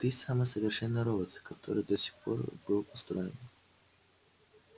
ты самый совершенный робот который до сих пор был построен